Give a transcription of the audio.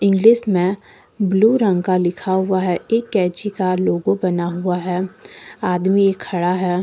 जिसमे ब्लू रंग का लिखा हुआ है एक कैची का लोगो बना हुआ है आदमी खड़ा है।